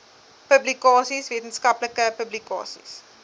publikasies wetenskaplike publikasies